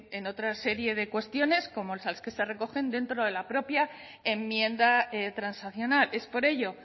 en otra serie de cuestiones como las que se recogen dentro de la propia enmienda transaccional es por ello